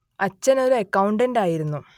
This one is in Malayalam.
അച്ഛൻ ഒരു അക്കൗണ്ടന്റായിരുന്നു